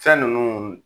Fɛn ninnu